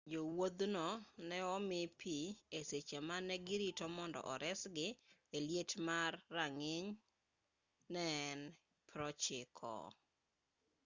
jowuothgo ne omi pi e seche mane girito mondo resgi e liet ma rang'iny ne en 90f